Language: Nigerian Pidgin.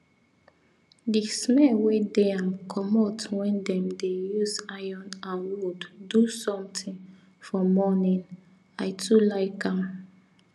the smell wey dey um commot when them dey use iron and wood do something for morning i too like am